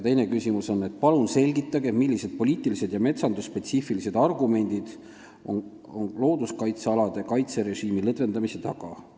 Teine küsimus: "Palun selgitage, millised poliitilised ja metsandusspetsiifilised argumendid on looduskaitsealade kaitserežiimi lõdvendamise taga?